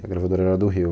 E a gravadora era do Rio.